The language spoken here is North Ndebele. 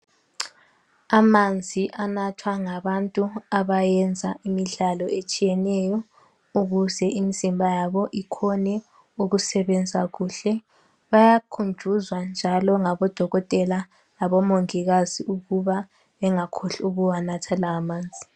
Amanzi anathwa ngabantu abayenza imidlalo etshiye neyo ukuze imizimba yabo ikhone ukusebenza kuhle bayakhunjuzwa njalo ngabo dokotela labo mongikazi ukuba bengakhohlwa ukuwanatha lawa manzil